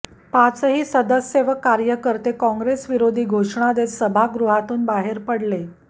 पाचही सदस्य व कार्यकर्ते काँग्रेस विरोधी घोषणा देत सभागृहातून बाहेर पडले